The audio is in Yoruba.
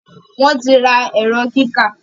wón tí rà Ẹ̀rọ kíkà